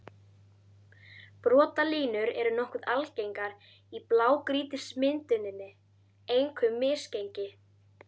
Brotalínur eru nokkuð algengar í blágrýtismynduninni, einkum misgengi.